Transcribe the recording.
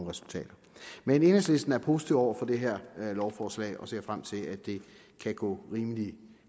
resultater men enhedslisten er positiv over for det her lovforslag og ser frem til at det kan gå rimelig